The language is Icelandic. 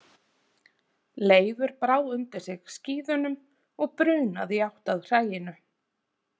Leifur brá undir sig skíðunum og brunaði í átt að hræinu.